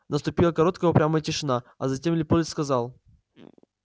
наступила короткая упрямая тишина а затем лепольд сказал